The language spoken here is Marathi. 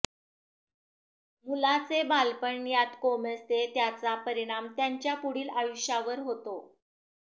मुलांचे बालपण यात कोमेजते त्याचा परिणाम त्यांच्या पुढील आयुष्यावर होतो